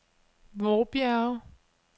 Vorbjerge